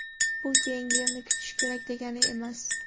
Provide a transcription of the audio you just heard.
Bu keyingi yilni kutish kerak degani emas.